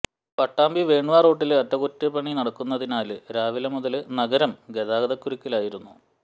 Pattambi one way റോഡില് അറ്റകുറ്റപണി നടക്കുന്നതി നാല് രാവിലെ മുതല് നഗരം ഗതാഗതകുരിക്കിലായിരുന്നു